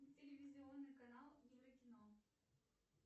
телевизионный канал еврокино